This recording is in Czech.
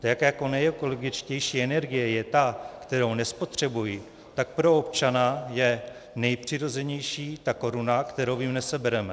Tak jako nejekologičtější energie je ta, kterou nespotřebuji, tak pro občana je nejpřirozenější ta koruna, kterou jim nesebereme.